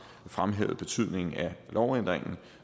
fremhævet betydningen af lovændringen